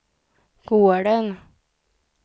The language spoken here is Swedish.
gården